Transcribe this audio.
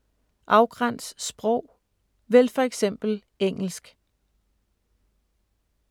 Afgræns sprog: vælg for eksempel engelsk